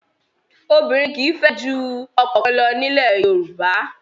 Obìnrin kì í fẹ́ ju ọkọ kan lọ ní ilẹ̀ Yorùbá.